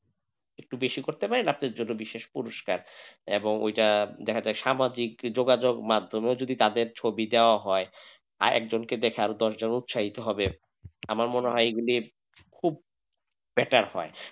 একটু বেশি করতে পারেন আপনার জন্য বিশেষ পুরস্কার এবং ওইটা দেখা যাক সামাজিক যোগাযোগ মাধ্যমেও যদি তাদের ছবি দেওয়া হয় আর একজন দেখে আরো দশজন উৎসাহিত হবে আমার মনে হয় এগুলির খুব better হয়।